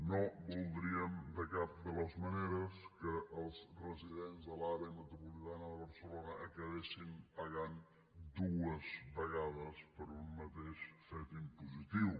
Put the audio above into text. no voldríem de cap de les maneres que els residents a l’àrea metropolitana de barcelona acabessin pagant dues vegades per un mateix fet impositiu